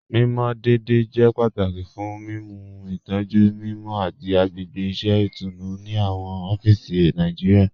Mimọ deẹ̀dẹ̀ jẹ́ pátàkì fún mímú ìtọ̀jú mímọ àti agbègbè iṣẹ̀ itùnú ni awọn ọ̀fíìsì Nàìjíríà.